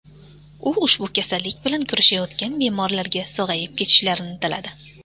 U ushbu kasallik bilan kurashayotgan bemorlarga sog‘ayib ketishlarini tiladi.